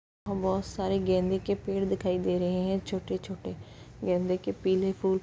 बहोत सारे गेंदे के पेड़ दिखाई दे रहे हैं छोटे-छोटे गेंदे के पीले फू --